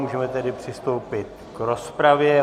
Můžeme tedy přistoupit k rozpravě.